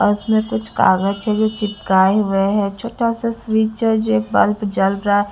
अ उसमें कुछ कागज है जो चिपकाए हुए है छोटा सा स्विच है जो एक बल्प जल रहा --